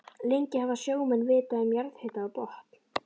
Lengi hafa sjómenn vitað um jarðhita á botni